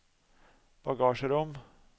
bagasjerom